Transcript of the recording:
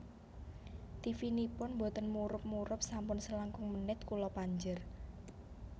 Tivinipun mboten murup murup sampun selangkung menit kula panjer